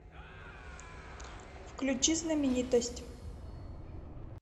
включи знаменитость